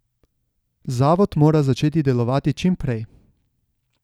Zavod mora začeti delovati čim prej.